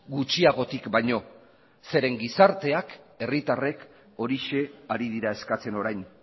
gutxiagotik baino zeren eta gizarteak herritarrek horixe ari dira eskatzen orain